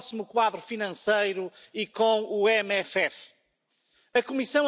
They have failed their responsibility to society, and we need to hold them accountable.